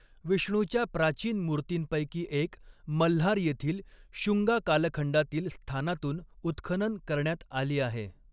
विष्णूच्या प्राचीन मूर्तींपैकी एक मल्हार येथील शुंगा कालखंडातील स्थानातून उत्खनन करण्यात आली आहे.